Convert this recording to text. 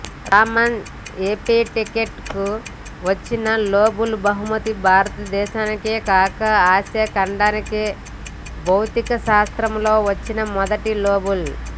రామన్ ఎఫెక్ట్కు వచ్చిన నోబెల్ బహుమతి భారతదేశానికేకాక ఆసియా ఖండానికే భౌతికశాస్త్రంలో వచ్చిన మొదటి నోబెల్